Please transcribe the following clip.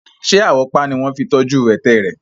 Ṣé àwọ́pá ni wọ́n fi tọ́jú ẹ̀tẹ̀ rẹ̀?